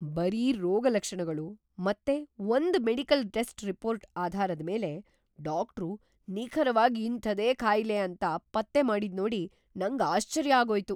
ಬರೀ ರೋಗಲಕ್ಷಣಗಳು ಮತ್ತೆ ಒಂದ್ ಮೆಡಿಕಲ್‌ ಟೆಸ್ಟ್ ರಿಪೋರ್ಟ್ ಆಧಾರದ್ಮೇಲೆ ಡಾಕ್ಟ್ರು ನಿಖರವಾಗ್ ಇಂಥದೇ ಕಾಯಿಲೆ ಅಂತ ಪತ್ತೆಮಾಡಿದ್ನೋಡಿ ನಂಗ್ ಆಶ್ಚರ್ಯ ಆಗೋಯ್ತು.